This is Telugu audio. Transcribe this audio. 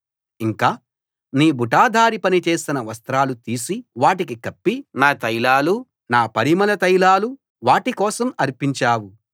ఇంకా నీ బుటాదారీ పని చేసిన వస్త్రాలు తీసి వాటికి కప్పి నా తైలాలు నా పరిమళ తైలాలు వాటి కోసం అర్పించావు